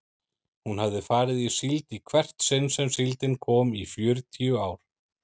Hún hafði farið í síld í hvert sinn sem síldin kom í fjörutíu ár.